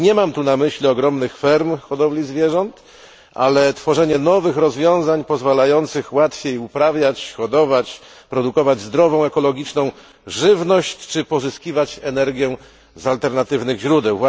Nie mam tu na myśli ogromnych ferm hodowli zwierząt, ale tworzenie nowych rozwiązań pozwalających łatwiej uprawiać, hodować, produkować zdrową i ekologiczną żywność, czy pozyskiwać energię z alternatywnych źródeł.